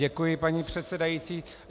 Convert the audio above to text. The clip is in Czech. Děkuji, paní předsedající.